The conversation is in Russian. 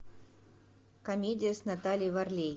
комедия с натальей варлей